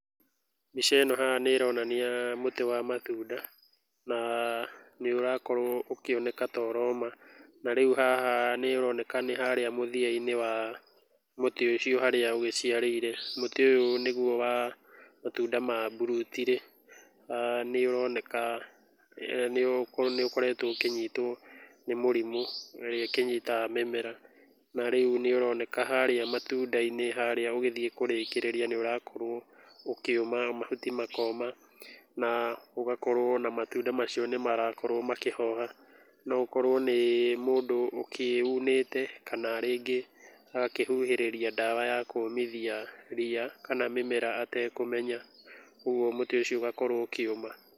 Mbica ĩno haha nĩ ĩronania mũtĩ wa matunda na nĩ ũrakorwo ũkĩoneka ta ũroma. Na rĩu haha nĩ ũroneka nĩ ta harĩa mũthiainĩ wa mũtĩ ũcio harĩa ũgĩciarĩire. Mũtĩ ũyũ nĩguo wa matunda ma mburuti rĩ nĩ ũroneka nĩ ũkoretwo ũkĩnyitwo nĩ mũrimũ ĩrĩa ĩkĩnyita mĩmera. Na rĩu nĩ ũroneka harĩa matunda-inĩ harĩa ũgĩthiĩ kũrĩkĩrĩria nĩ ũrakorwo ũkĩũma, mahuti makoma na ũgakorwo ona matunda macio nĩ marakorwo makĩhoha. No ũkorwo nĩ mũndü ũkĩunĩte kana rĩngĩ agakĩhuhĩrĩria ndawa ya kũũmithia ria kana mĩmera atekũmenya. Koguo mũtĩ ũcio ũgakorwo ũkĩũma.